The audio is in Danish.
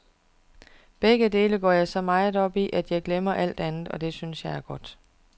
Begge dele går jeg så meget op i, at jeg glemmer alt andet, og det synes jeg er godt.